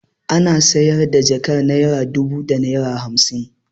Ana sayar da jakar naira dubu da naira hamsin.